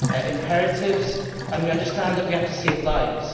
imperatives and we understand that we have to save lives.